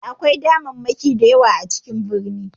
E, akwai damammaki da yawa a cikin birni.